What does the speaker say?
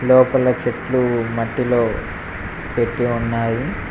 లోపల చెట్లు మట్టిలో పెట్టి ఉన్నాయి.